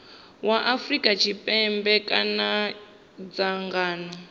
wa afrika tshipembe kana dzangano